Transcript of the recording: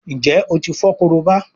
Njé o tí fo Korobá?